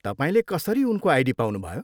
तपाईँले कसरी उनको आइडी पाउनुभयो?